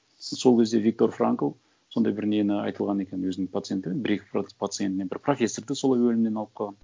сол кезде виктор франкл сондай бір нені айтылған екен өзінің пациенттері бір екі пациентіне бір профессорды солай өлімнен алып қалған